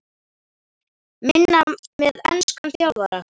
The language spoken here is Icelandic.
Minna með enskan þjálfara?